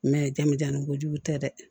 jamujanni kojugu tɛ dɛ